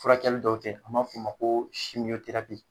Furakɛli dɔw tɛ an b'a f' a ma ko